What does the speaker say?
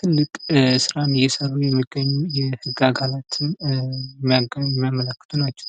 ትልቅ ስራም እየሰሩ የሚገኙ የህግ አካላትን የሚያመላክቱ ናቸው።